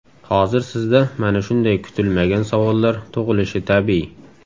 Hozir sizda mana shunday kutilmagan savollar tug‘ilishi tabiiy.